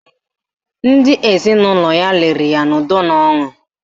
Ndị ezinụlọ ya liri ya n'udo na ọṅụ